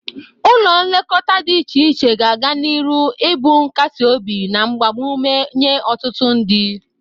Ụlọ nlekọta dị iche iche ga-aga n'iru ibụ nkasiobi na mgbamụme nye ọtụtụ ndị.